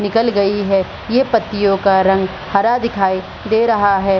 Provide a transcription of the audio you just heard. निकल गई है ये पत्तियों का रंग हरा दिखाई दे रहा है।